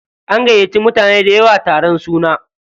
An gayyace mutane dayawa taron suna.